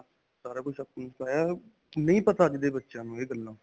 ਸਾਰਾ ਕੁਝ ਨਹੀਂ ਪਤਾ ਅੱਜ ਦੇ ਬੱਚਿਆਂ ਨੂੰ ਇਹ ਗੱਲਾਂ.